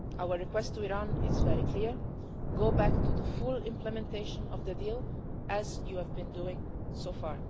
Our request to Iran is very clear go back to the full implementation of the deal as you have been doing so far.